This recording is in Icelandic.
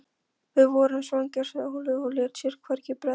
Við vorum svangir, sagði Óli og lét sér hvergi bregða.